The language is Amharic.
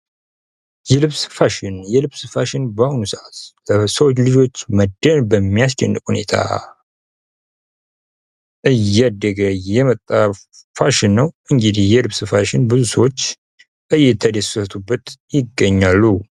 የልብስ ፋሽን: የልብስ ፋሽን በአሁኑ ሰዓት በብዙ ልጆች መደመም በሚያስችል ሁኔታ እያደገ የመጣ ፋሽን ነው:: እንግዲህ የልብስ ፋሽን ብዙ ሰዎች እየተደሰቱበት ይገኛሉ::